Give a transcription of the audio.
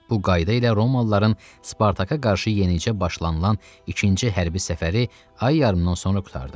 Bu qayda ilə Romalıların Spartaka qarşı yenicə başlanılan ikinci hərbi səfəri ay yarımdan sonra qurtardı.